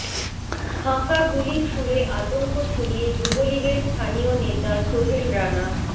ফাঁকা গুলি ছুড়ে আতঙ্ক ছড়িয়ে যুবলীগের স্থানীয় নেতা সোহেল রানা